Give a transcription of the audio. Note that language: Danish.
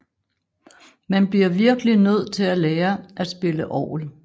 Man bliver virkeligt nødt til at lære at spille orgel